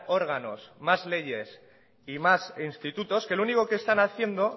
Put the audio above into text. órganos más leyes y más institutos que lo único que están haciendo